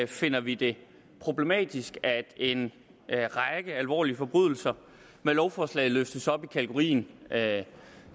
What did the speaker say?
finder vi det problematisk at en række alvorlige forbrydelser med lovforslaget løftes op i kategorien